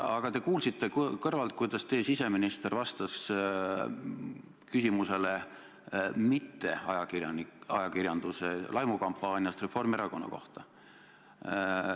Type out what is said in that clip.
Aga te kuulsite kõrvalt, kuidas teie siseminister vastas küsimusele mitteajakirjanduse laimukampaaniast Reformierakonna kohta.